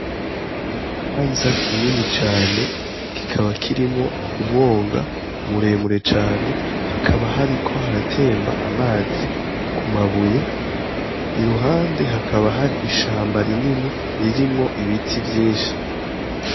N'ikibanza kini cane kikaba kirimwo umwonga muremure cane hakaba hariko haratemba amazi kumabuye iruhande hakaba hari ishamba rinini ririmwo ibiti vyinshi.